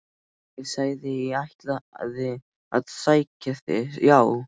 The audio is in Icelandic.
Ég sagði að ég ætlaði að sækja þig, já!